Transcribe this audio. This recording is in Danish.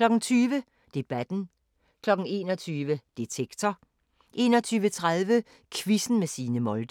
20:00: Debatten 21:00: Detektor 21:30: Quizzen med Signe Molde